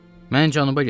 Mən cənuba getmişdim.